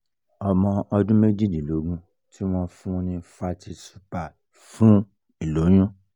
ọmọ ọdún méjìdínlógún ti won fun ni fertyl super fún ìloyun